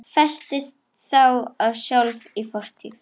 Festist þá sjálf í fortíð.